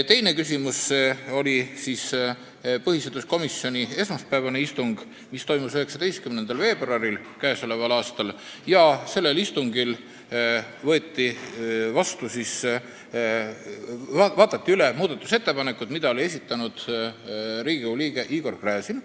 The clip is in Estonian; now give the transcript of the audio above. Teiseks oli põhiseaduskomisjoni esmaspäevane istung, mis toimus 19. veebruaril k.a. Sellel korral vaadati üle muudatusettepanekud, mille oli esitanud Riigikogu liige Igor Gräzin.